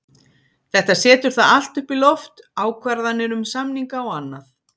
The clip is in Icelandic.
Þetta setur það allt upp í loft, ákvarðanir um samninga og annað.